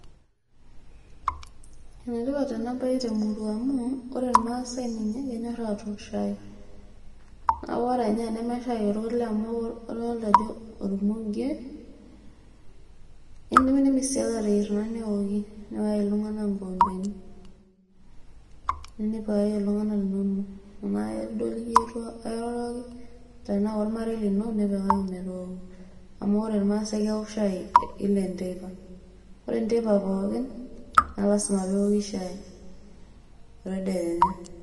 ene tipat amu ore irmaasai ninye kenyor aatook shai. kake ore irmaasai ninye amu kadoolta ajo ormuge. idimidimi naa aateyier neoki. nipikaki iltunganak inkikompeni. tenaa ormarei lino nipikaki. amu ore irmaasae keok shai kila enteipa.